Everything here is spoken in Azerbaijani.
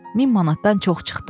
Min manatdan çox çıxdı.